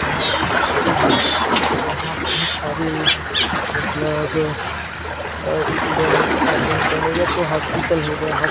यहां एक स्कूल है यहां बहुत सारे मतलब स्टूडेंट आते हैं पढ़ने या तो हॉस्पिटल होगा हॉस्पिटल लग--